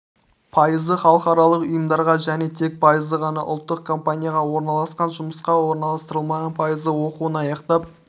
пайызы халықаралық ұйымдарға және тек пайызы ғана ұлттық компанияға орналасқан жұмысқа орналастырылмаған пайызы оқуын аяқтап